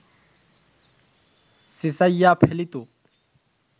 চেঁচাইয়া ফেলিত